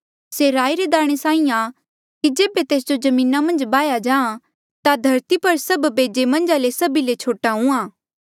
से राई रे दाणे साहीं आं कि जेबे तेस जो जमीना मन्झ बाह्या जाहाँ ता धरती पर सब बेजे मन्झा ले से सभी ले छोटा हुंहां